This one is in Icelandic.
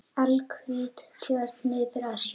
Alhvít jörð niður að sjó.